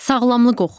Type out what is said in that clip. Sağlamlıq oxu.